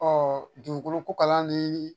dugukolo ko kalanni